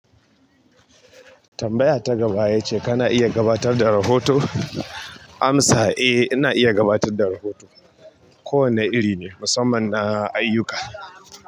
Tambaya ta gaba ita ce kana iya gabatar da rahoto? Amsa, eh, ina iya gabatar da rahoto. Kowane iri ne, musamman na ayyuka.